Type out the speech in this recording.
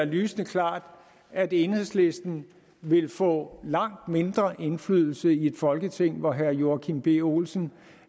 lysende klart at enhedslisten vil få langt mindre indflydelse i et folketing hvor herre joachim b olsen